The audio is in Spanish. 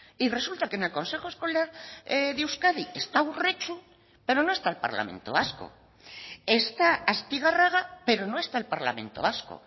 y resulta que en el consejo escolar de euskadi está urretxu pero no está el parlamento vasco está astigarraga pero no está el parlamento vasco